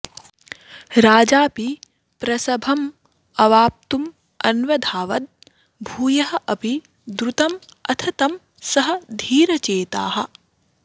राजापि प्रसभमवाप्तुमन्वधावत् भूयः अपि द्रुतमथ तं सः धीरचेताः